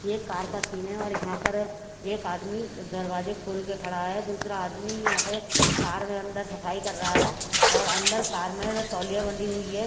एक कार का सीन है और यहां पर एक आदमी दरवाजे खोलके खड़ा है दूसरा आदमी यहां पे कार में अंदर सफाई कर रहा है और अंदर कार में तौलिया बंधी हुई है।